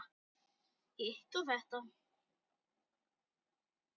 Hitt og þetta.